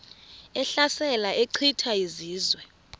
ehlasela echitha izizwe